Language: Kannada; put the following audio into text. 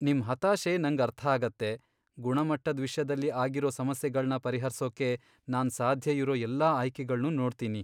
ನಿಮ್ ಹತಾಶೆ ನಂಗ್ ಅರ್ಥಾಗತ್ತೆ, ಗುಣಮಟ್ಟದ್ ವಿಷ್ಯದಲ್ಲಿ ಆಗಿರೋ ಸಮಸ್ಯೆಗಳ್ನ ಪರಿಹರ್ಸೋಕೆ ನಾನ್ ಸಾಧ್ಯ ಇರೋ ಎಲ್ಲಾ ಆಯ್ಕೆಗಳ್ನೂ ನೋಡ್ತೀನಿ.